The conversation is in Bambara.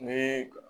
Ni